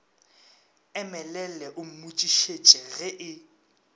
emelele o mmotšišitše ge e